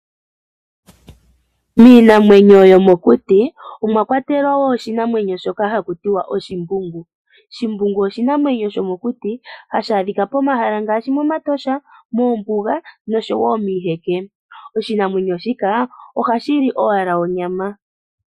Miinamwenyo yomokuti omwa kwatelwa wo oshinamwemyo shoka haku tiwa oshimbungu. Shimbungu oshinamwemyo shomokuti hashi adhika momahala ngaashi mEtosha moombuga noshowo miiheke. Oshinamwenyo shika ohashi li owala onyama.